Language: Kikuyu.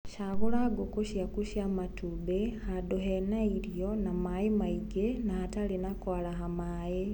cagūrĩra nguku ciaku cia matumbĩ handũhena irio na maĩ maingĩ na hatarĩ na kwaraha maĩ.